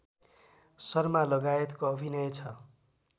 शर्मालगायतको अभिनय छ